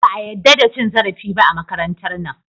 Ba a yadda da cin zarafi ba a makarantar nan.